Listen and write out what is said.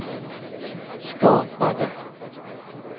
skapade